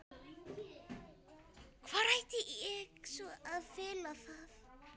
Hvar ætti ég svo sem að fela það?